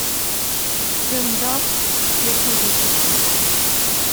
стендап первый выпуск